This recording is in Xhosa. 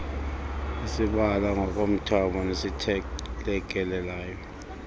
esibala ngokomthamo nesithelekelelayo